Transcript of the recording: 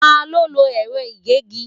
Ta ló lo ẹ̀rọ ìgégi?